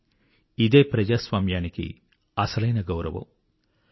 కానీ ఇదే ప్రజాస్వామ్యానికి అసలైన గౌరవం